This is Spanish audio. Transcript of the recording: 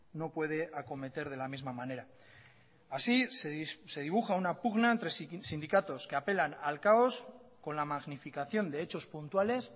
no puede acometer de la misma manera así se dibuja una pugna entre sindicatos que apelan al caos con la magnificación de hechos puntuales